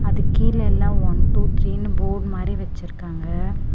அதுக்கீழ எல்லா one two த்ரீனு board மாதிரி வெச்சிருக்காங்க.